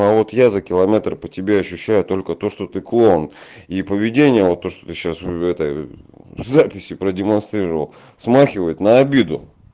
а вот я за километр по тебе ощущаю только то что ты клоун и поведение вот то что ты сейчас в этой записи продемонстрировал смахивает на обиду